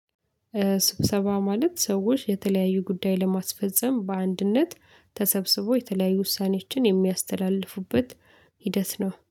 ስብሰባ ማለት ሰዎች የተለያዩ ጉዳይ ለማስፈፀም በአንድነት ተሰብስቦ የተለያዩ ውሳኔችን የሚያስተላልፉበት ሂደት ነው